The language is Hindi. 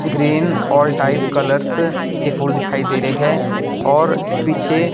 ग्रीन ऑल टाइप कलर्स के फूल दिखाई दे रहे है और पीछे--